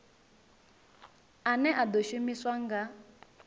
ane a ḓo shumiswa nga